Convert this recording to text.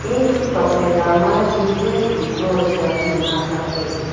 e toh tokphai kaw ma jisus kuh cross a ngan ang kap taiga.